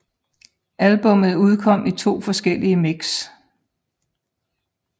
Albummet udkom i to forskellige mix